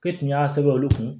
K'e tun y'a sɛbɛn olu kun